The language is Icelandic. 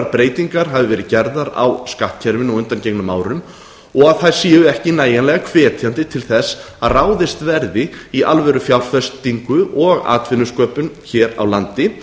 breytingar hafa verið gerðar á skattkerfinu á undangengnum árum og þær séu ekki nægilega hvetjandi til að ráðist verði í alvörufjárfestingu og atvinnusköpun hér á landi